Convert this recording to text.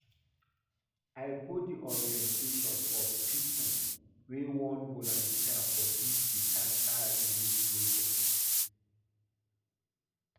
I go di orientation for pipo wey wan volunteer for di disaster relief project.